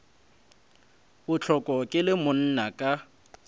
bohloko ke le monna ka